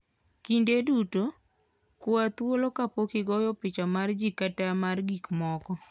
Kinde duto, kwa thuolo kapok igoyo picha mar ji kata mar gik moko.